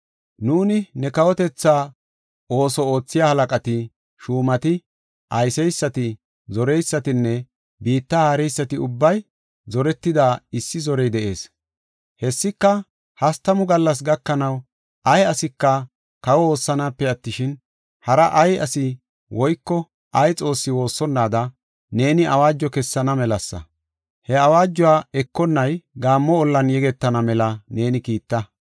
Nuuni ne kawotetha ooso oothiya halaqati, shuumati, ayseysati, zoreysatinne biitta haareysati ubbay zoretida issi zorey de7ees. Hessika hastamu gallas gakanaw, ay asika kawa woossanaape attishin, hara ay asi woyko ay xoosse woossonnaada, neeni awaajo kessana melasa. He awaajuwa ekonnay gaammo ollan yegetana mela neeni kiitta.